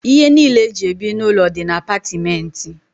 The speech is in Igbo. Ihe niile eji ebi n'ụlọ dị na apatìmenti.